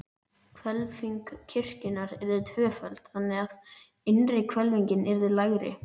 Hvelfing kirkjunnar yrði tvöföld, þannig, að innri hvelfingin yrði lægri.